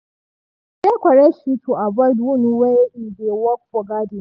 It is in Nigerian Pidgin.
e wear correct shoe to avoid wound while e dey work for garden.